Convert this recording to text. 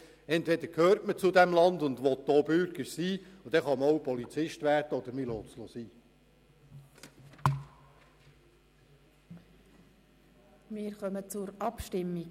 Entweder gehört man zu diesem Land und will Bürger sein, dann kann man auch Polizist werden, oder man lässt es sein.